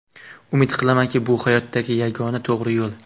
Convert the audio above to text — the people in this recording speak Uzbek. Umid qilamanki, bu hayotdagi yagona to‘g‘ri yo‘l.